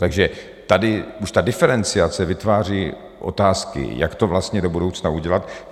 Takže tady už ta diferenciace vytváří otázky, jak to vlastně do budoucna udělat.